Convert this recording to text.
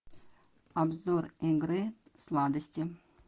обзор игры сладости